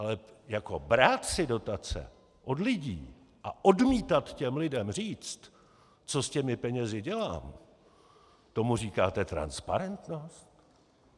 Ale jako brát si dotace od lidí a odmítat těm lidem říct, co s těmi penězi dělám, tomu říkáte transparentnost?